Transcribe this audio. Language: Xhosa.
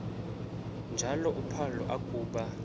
njalo uphalo akuba